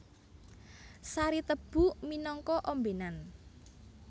Sari tebu minangka ombènan